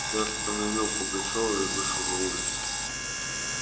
я остановил пугачёва и вышел на улицу